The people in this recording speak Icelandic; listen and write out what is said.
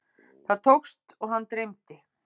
Það tókst og hann dreymdi.